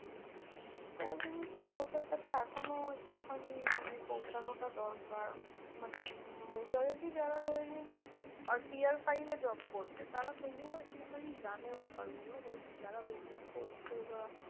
তো ওই জিনিসটা লোকের কাছে এখনও একটু খানি মানে পৌঁছানোটা দরকার। মানে উম majority যারা ধরে নিন আর peer five এ job করছে, তারা তবুও একটুখানি জানে ব্যাপারগুলো but যারা business করছে বা